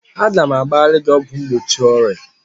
Aga m agbarịrị gị ọgwụ mgbochi ọrịa!